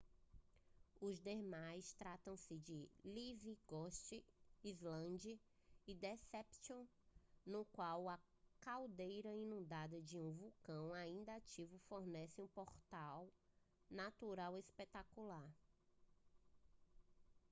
os demais tratam-se de livingston island e deception no qual a caldeira inundada de um vulcão ainda ativo fornece um porto natural espetacular